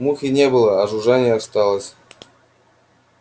мухи не было а жужжание шло